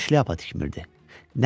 Təkcə şlyapa tikmirdi.